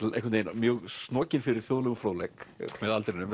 mjög snokinn fyrir þjóðlegum fróðleik með aldrinum